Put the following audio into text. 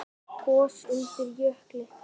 Gos undir jökli